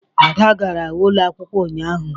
Ada gara ụlọ akwukwo ụnyaahụ.